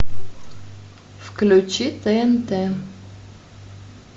включи тнт